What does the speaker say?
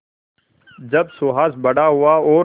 जब सुहास बड़ा हुआ और